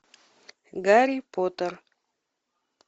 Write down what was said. гарри поттер